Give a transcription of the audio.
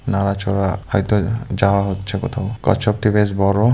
নাড়াচড়া হয়তো যাওয়া হচ্ছে কোথাও কচ্ছপটি বেশ বড়ো ।